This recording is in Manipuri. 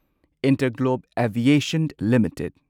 Interglobe Aviation limited